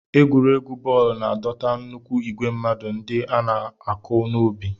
Egwuregwu bọọlụ na-adọta nnukwu igwe mmadụ ndị na-anụ ọkụ n'obi.